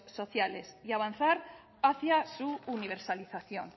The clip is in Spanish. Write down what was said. sociales y avanzar hacia su universalización